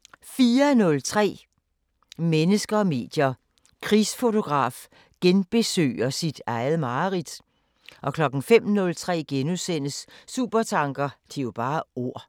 04:03: Mennesker og medier: Krigsfotograf genbesøger sit eget mareridt 05:03: Supertanker: Det er jo bare ord... *